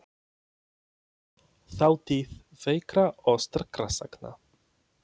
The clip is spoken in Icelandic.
Þátíð veikra og sterkra sagna.